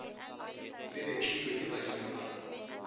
le betlilwe ke badimo ba